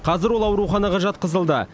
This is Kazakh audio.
қазір ол ауруханаға жатқызылды